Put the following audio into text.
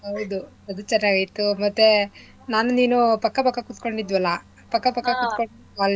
ಹೌದು. ಅದು ಚೆನ್ನಾಗಿತ್ತು ಮತ್ತೇ ನಾನೂ ನೀನೂ ಪಕ್ಕ ಪಕ್ಕ ಕೂತ್ಕೊಂಡಿದ್ವಲ್ಲ ಪಕ್ಕ ಪಕ್ಕ ಕೂತ್ಕೊಂಡ್ ಅಲ್ಲಿ.